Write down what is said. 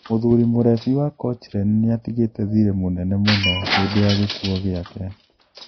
Mũthuri mũrebi wa Cochrane niatigite thire mũnene mũno hindi ya gikuo giake.